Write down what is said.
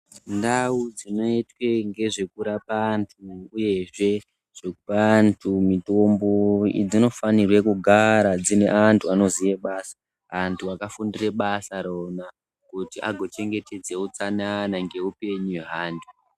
Ndau dzinoitwe ngezvekurapa vantu uyezve dzinooa antu mitombo dzinofanire kugara dzine antu anoziye basa, antu akafundire basa rona kuti agochengetedze utsanana neupenyu hweantu.